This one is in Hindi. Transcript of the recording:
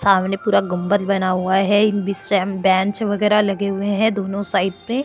सामने पूरा गुंबद बना हुआ है विश्राम बेंच वगैरह लगे हुए है दोनों साइड पे --